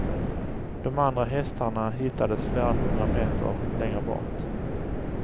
De andra hästarna hittades flera hundra meter längre bort.